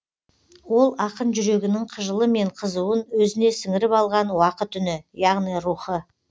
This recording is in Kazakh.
ол ақын жүрегінің қыжылы мен қызуын өзіне сіңіріп алған уақыт үні яғни рухы